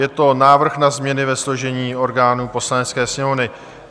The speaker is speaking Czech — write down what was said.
Je to návrh na změny ve složení orgánů Poslanecké sněmovny.